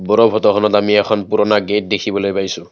ওপৰৰ ফটোখনত আমি এখন পুৰণা গেট দেখিবলৈ পাইছোঁ।